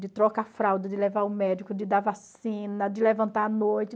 De trocar a fralda, de levar o médico, de dar vacina, de levantar à noite.